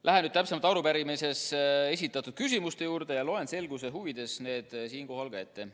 Lähen nüüd täpsemalt arupärimises esitatud küsimuste juurde ja loen selguse huvides need siinkohal ka ette.